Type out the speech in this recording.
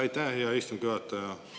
Aitäh, hea istungi juhataja!